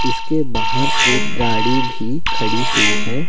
इसके बाहर एक गाड़ी भी खड़ी हुई है ।